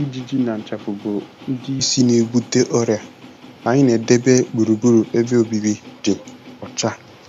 Ijiji na nchafụ bụ ndị isi na-ebute ọrịa; anyị na-edebe gburugburu ebe obibi dị ọcha.